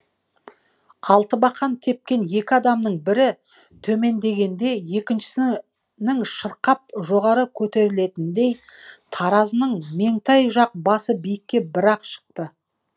алтыбақан тепкен екі адамның бірі төмендегенде екіншісінің шырқап жоғары көтерілетініндей таразының меңтай жақ басы биікке бір ақ шықты